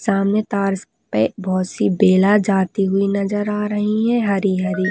सामने तार स पे बहुत सी बेला जाती हुई नजर आ रही है हरी हरी ।